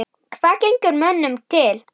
Hvað gengur mönnum til?